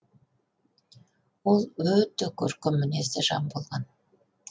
ол өте көркем мінезді жан болған